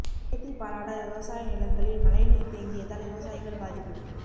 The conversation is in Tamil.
கேத்தி பாலாடா விவசாய நிலங்களில் மழை நீர் தேங்கியதால் விவசாயிகள் பாதிப்பு